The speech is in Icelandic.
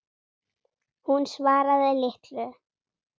Hún svaraði litlu.